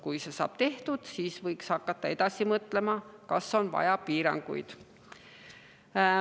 Kui see saab tehtud, siis võiks hakata edasi mõtlema, kas on vaja piiranguid.